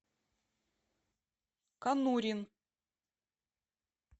конурин